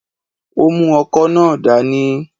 Ó mú ọkọ́ náà dání